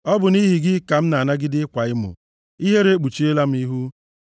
Ọ bụ nʼihi gị ka m na-anagide ịkwa emo, ihere ekpuchiela m ihu.